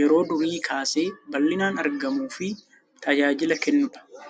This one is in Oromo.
yeroo durii kaasee bal'inaan argamuu fi tajaajila kennuu dha.